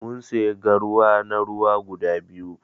mun siya garwa na ruwa guda biyu.